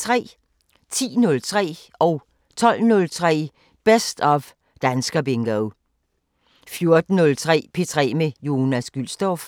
10:03: Best of Danskerbingo 12:03: Best of Danskerbingo 14:03: P3 med Jonas Gülstorff